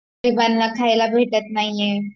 गरिबांना खायला भेटत नाहीये